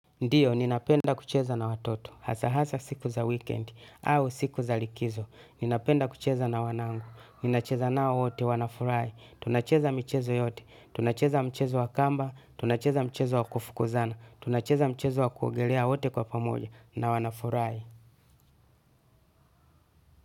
Ndiyo, ninapenda kucheza na watoto, hasa hasa siku za wikendi, au siku za likizo, ninapenda kucheza na wanangu, ninacheza nao wote, wanafurahi, tunacheza michezo yote, tunacheza mchezo wa kamba, tunacheza mchezo wa kufukuzana, tunacheza mchezo wa kuogelea wote kwa pamoja, na wanafurahi.